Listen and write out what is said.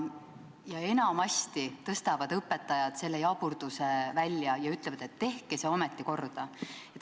Enamasti toovad õpetajad selle jaburduse välja ja ütlevad, et tehke see ometi korda.